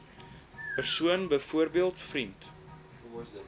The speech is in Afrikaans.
persoon byvoorbeeld vriend